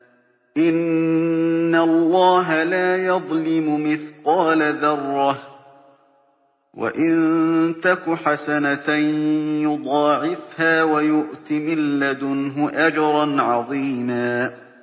إِنَّ اللَّهَ لَا يَظْلِمُ مِثْقَالَ ذَرَّةٍ ۖ وَإِن تَكُ حَسَنَةً يُضَاعِفْهَا وَيُؤْتِ مِن لَّدُنْهُ أَجْرًا عَظِيمًا